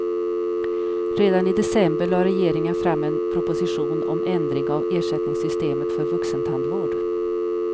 Redan i december lade regeringen fram en proposition om ändring av ersättningssystemet för vuxentandvård.